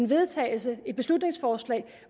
vedtagelse et beslutningsforslag